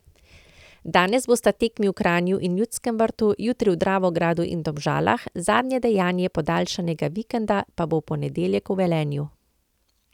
Danes bosta tekmi v Kranju in Ljudskem vrtu, jutri v Dravogradu in Domžalah, zadnje dejanje podaljšanega vikenda pa bo v ponedeljek v Velenju.